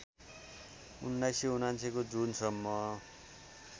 १९९९ को जुन सम्म